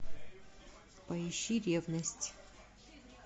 поищи ревность